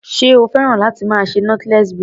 Ṣé o fẹ́ràn láti máa ṣe knotless braid?